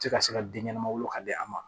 Tɛ se ka den ɲɛnama wolo ka di a ma